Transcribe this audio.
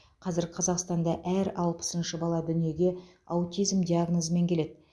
қазір қазақстанда әр алпысыншы бала дүниеге аутизм диагнозымен келеді